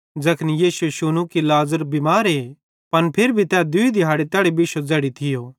ज़ैखन यीशुए शुनू कि लाज़र बिमारे पन फिर भी दूई दिहाड़े तैड़ी बिश्शो ज़ैड़ी तै थियो